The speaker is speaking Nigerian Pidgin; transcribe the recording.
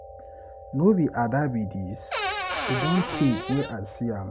No be Ada be dis, e don tey wey I see am.